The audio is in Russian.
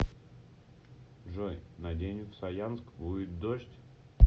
джой на день в саянск будет дождь